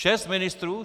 Šest ministrů?